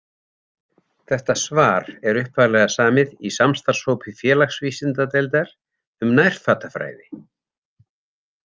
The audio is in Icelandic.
Þetta svar er upphaflega samið í samstarfshópi félagsvísindadeildar um nærfatafræði.